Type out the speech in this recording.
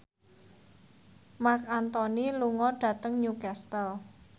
Marc Anthony lunga dhateng Newcastle